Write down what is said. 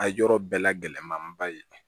A yɔrɔ bɛɛ la gɛlɛnmanba ye